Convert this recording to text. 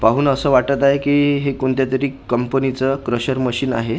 पाहून असं वाटतं आहे की हे कोणत्यातरी कंपनीचं क्रेशर मशीन आहे.